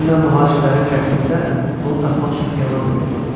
Dünən mühacirlərin qəzetində onu tapmaq üçün elan da verdim.